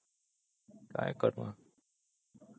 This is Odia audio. କଣ କରିବା